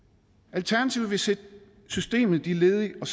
alternativet vil sætte systemet de ledige og